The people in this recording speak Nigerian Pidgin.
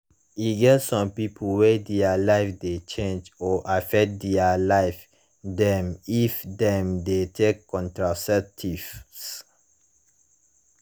e get some people wey their life de change or affect their life dem if dem de take contraceptives